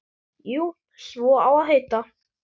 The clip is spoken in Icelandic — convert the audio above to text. Jú, svo á að heita.